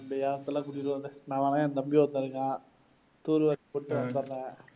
நான் வரேன். என தம்பி ஒருத்தன் இருக்கான்